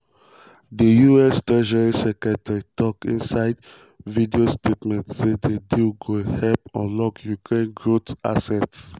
di us treasury secretary tok inside video statement say di deal go help "unlock ukraine growth assets".